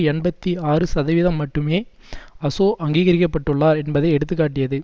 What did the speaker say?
எண்பத்தி ஆறு சதவீதம் மட்டுமே அசொ அங்கீகரிக்கப்பட்டுள்ளார் என்பதை எடுத்து காட்டியது